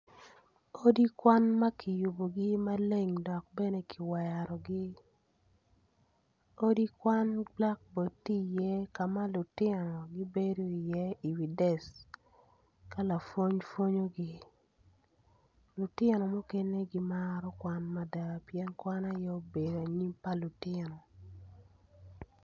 Odi kwan maa kiyubugi maleng dok bene ki werogi odi kwan bulakbod ti iye ka ma lutino gibedi iye i wi dec ka lapwony pwonyogi lutino mukene gimaro kwan mada pien kwan aye obedo anyim pa lutino.